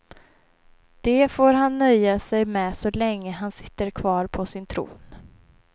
Det får han nöja sig med så länge han sitter kvar på sin tron.